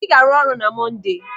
Ị ga-arụ ọrụ na Monde!